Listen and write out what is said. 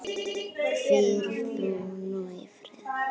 Hvíl þú nú í friði.